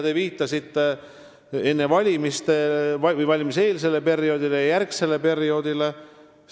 Te viitasite valimiseelsele ja -järgsele perioodile.